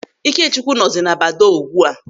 Ikechukwu nọzi na badoo ugbu a.